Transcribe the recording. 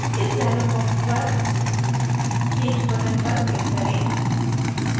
इस dialog box पर change button पर click करें